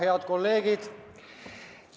Head kolleegid!